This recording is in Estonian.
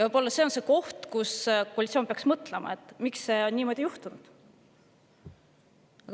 Võib-olla see on koht, kus koalitsioon peaks mõtlema, miks on niimoodi juhtunud.